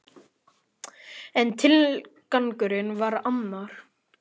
En tilgangurinn var annar.